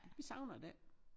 Vi savner det ikke